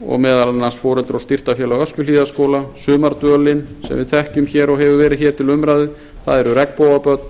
og meðal annars foreldra og styrktarfélag öskjuhlíðarskóla sumardvölin sem við þekkjum og hefur verið til umræðu það eru regnbogabörn